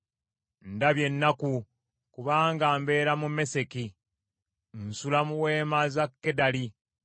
Ndabye ennaku, kubanga mbeera mu Meseki; nsula mu weema za Kedali!